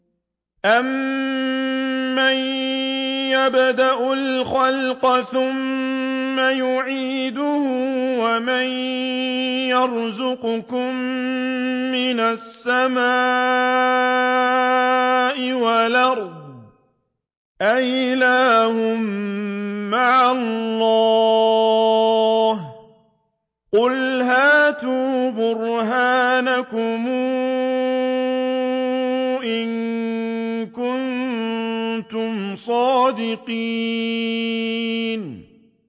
أَمَّن يَبْدَأُ الْخَلْقَ ثُمَّ يُعِيدُهُ وَمَن يَرْزُقُكُم مِّنَ السَّمَاءِ وَالْأَرْضِ ۗ أَإِلَٰهٌ مَّعَ اللَّهِ ۚ قُلْ هَاتُوا بُرْهَانَكُمْ إِن كُنتُمْ صَادِقِينَ